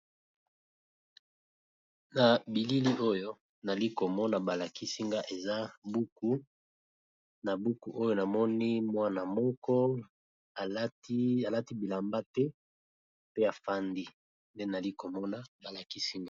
Na bilili oyo nali komona balakisinga eza buku na buku oyo namoni mwana moko alati bilamba te pe afandi nde nali komona balakisinga.